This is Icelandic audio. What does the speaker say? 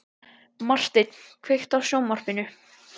Marteinn, kveiktu á sjónvarpinu.